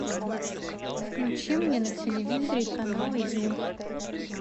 включи мне на телевизоре канал ю